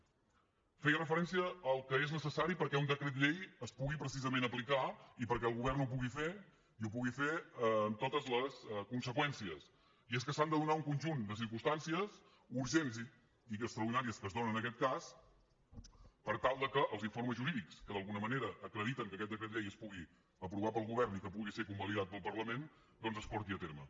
feia referència al que és necessari perquè un decret llei es pugui precisament aplicar i perquè el govern ho pugui fer i ho pugui fer amb totes les conseqüències i és que s’han de donar un conjunt de circumstàncies urgents i extraordinàries que es donen en aquest cas per tal que els informes jurídics que d’alguna manera acrediten que aquest decret llei es pugui aprovar pel govern i que pugui ser convalidat pel parlament doncs es porti a terme